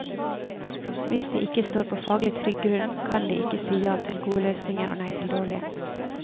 Hvis de ikke står på faglig trygg grunn, kan de ikke si ja til gode løsninger og nei til dårlige.